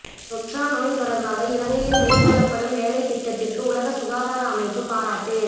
தொற்றாநோய் தொடர்பாக இலங்கையில் மேற்கொள்ளப்படும் வேலைத்திட்டத்திற்கு உலக சுகாதார அமைப்பு பாராட்டு